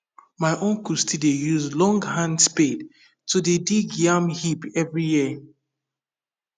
my uncle still dey use long hand spade to dey dig yam heap every year